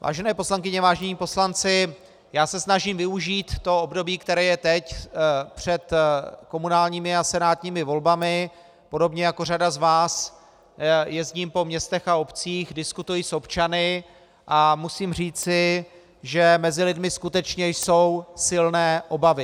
Vážené poslankyně, vážení poslanci, já se snažím využít to období, které je teď před komunálními a senátními volbami, podobně jako řada z vás jezdím po městech a obcích, diskutuji s občany a musím říci, že mezi lidmi skutečně jsou silné obavy.